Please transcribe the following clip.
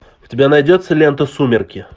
у тебя найдется лента сумерки